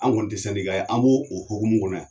An kɔni te ye. An b'o o hokumu kɔnɔ yan.